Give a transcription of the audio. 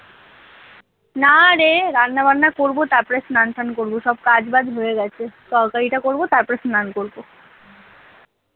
নারে রান্না বান্না করব তারপরে স্নান টান করব সব কাজ বাজ হয়ে গেছে তরকারিটা করবো তারপর স্নান করবো।